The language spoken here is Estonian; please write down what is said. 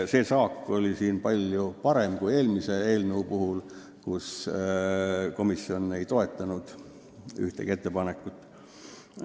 Saak oli siinkohal palju parem kui eelmise eelnõu puhul, kui komisjon ei toetanud ühtegi ettepanekut.